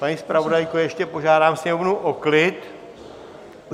Paní zpravodajko, ještě požádám Sněmovnu o klid.